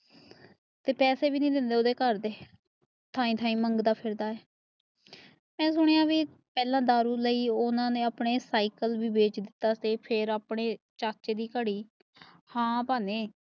ਤੇਹ ਪੈਸੇ ਵੀ ਨੀ ਦੇਂਦੇ ਓਹਦੇ ਘਰ ਦੇ ਥਾਈ ਥਾਈ ਮੰਗਦਾ ਫਿਰਦਾ ਮਾਈ ਸੁਣਿਆ ਬਾਈ ਦਾਰੂ ਲਾਈ ਓਹਨਾ ਨੇ ਆਪਣੇ ਸਾਈਕਲ ਵੀ ਵੇਚ ਦਿੱਤਾ ਫੇਅਰ ਆਪਣੇ ਚਾਚੇ ਦੀ ਘੜੀ ਹਨ ਭਾਣੇ